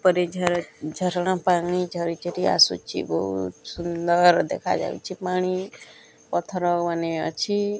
ଉପରେ ଝରଣା ପାଣି ଝରି ଝରି ଆସୁଛି ବହୁତ୍ ସୁନ୍ଦର୍ ଦେଖା ଯାଉଛି ପାଣି ପଥର ମାନେ ଅଛି।